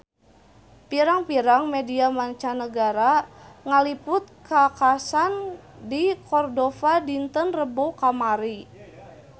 Pirang-pirang media mancanagara ngaliput kakhasan di Cordova dinten Rebo kamari